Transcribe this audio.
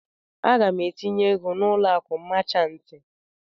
Aga m etinye ego na ụlọ akụ machantị.